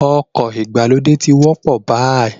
Ọkọ̀ ìgbàlódé ti ń wọ́pọ̀ báyìí